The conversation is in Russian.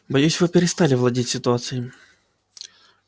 боюсь вы перестали владеть ситуацией